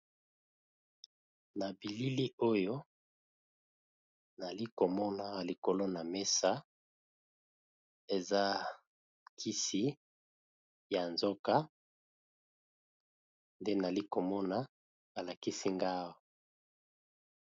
Na bilili oyo nalikomona likolo na mesa eza kisi ya nzoka nde nalikomona alakisi ngawa.